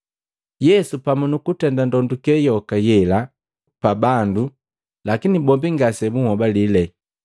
Yesu pamu nukutenda ndonduke yoka yela pa bandu lakini bombi ngase bunhobalile.